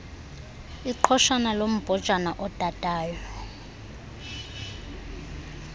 iqhoshana lombhojana odadayo